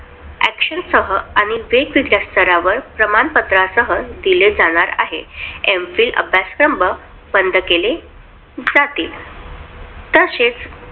Action सह आणि वेगवेगळ्या स्तरावर प्रमाणपत्र सह प्रमाणे दिले जाणार आहे. M Phil अभ्यासक्रम बंद केले जातील.